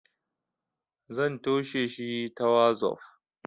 zan tosheshi ta wazof